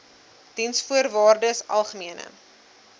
diensvoorwaardesalgemene